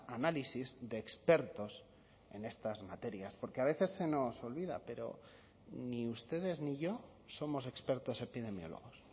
análisis de expertos en estas materias porque a veces se nos olvida pero ni ustedes ni yo somos expertos epidemiólogos